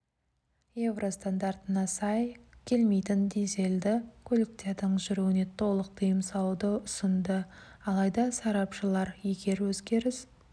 еуро стандартына сай келмейтін дизельді көліктердің жүруіне толық тыйым салуды ұсынды алайда сарапшылар егер өзгеріс